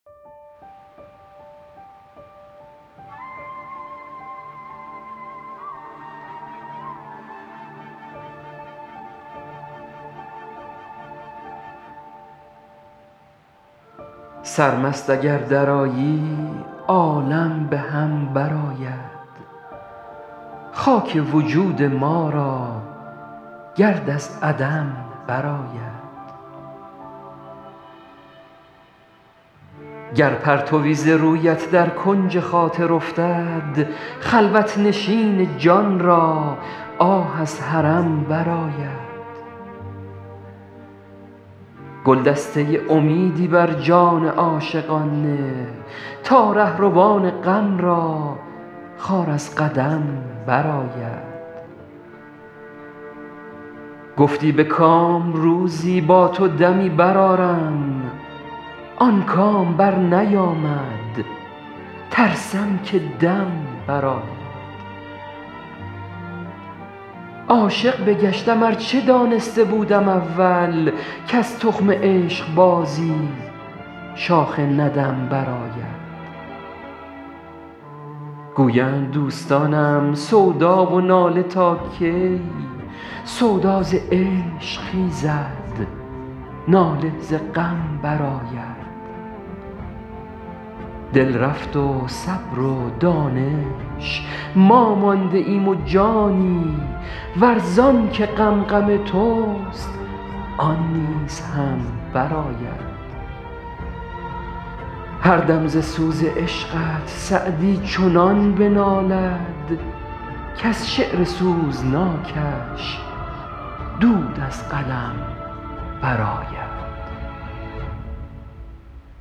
سرمست اگر درآیی عالم به هم برآید خاک وجود ما را گرد از عدم برآید گر پرتوی ز رویت در کنج خاطر افتد خلوت نشین جان را آه از حرم برآید گلدسته امیدی بر جان عاشقان نه تا رهروان غم را خار از قدم برآید گفتی به کام روزی با تو دمی برآرم آن کام برنیامد ترسم که دم برآید عاشق بگشتم ار چه دانسته بودم اول کز تخم عشقبازی شاخ ندم برآید گویند دوستانم سودا و ناله تا کی سودا ز عشق خیزد ناله ز غم برآید دل رفت و صبر و دانش ما مانده ایم و جانی ور زان که غم غم توست آن نیز هم برآید هر دم ز سوز عشقت سعدی چنان بنالد کز شعر سوزناکش دود از قلم برآید